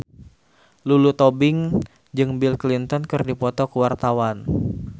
Lulu Tobing jeung Bill Clinton keur dipoto ku wartawan